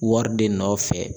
Wari de nɔfɛ.